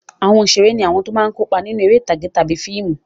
Àwọn òṣèré ní àwọn tó máa ń kópa nínú eré ìtàgé tàbí fíìmù.